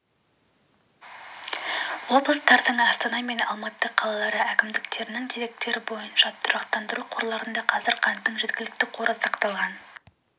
облыстардың астана мен алматы қалалары әкімдіктерінің деректері бойынша тұрақтандыру қорларында қазір қанттың жеткілікті қоры сақталған